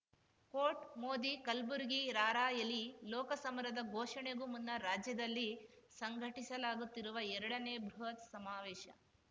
coat Modi Kalburgi rally ಲೋಕ ಸಮರದ ಘೋಷಣೆಗೂ ಮುನ್ನ ರಾಜ್ಯದಲ್ಲಿ ಸಂಘಟಿಸಲಾಗುತ್ತಿರುವ ಎರಡನೇ ಬೃಹತ್‌ ಸಮಾವೇಶ